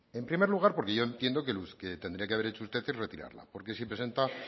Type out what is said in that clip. en primer lugar porque yo entiendo que lo que tendría que haber hecho usted es retirarla porque si presenta